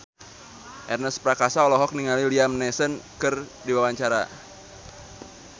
Ernest Prakasa olohok ningali Liam Neeson keur diwawancara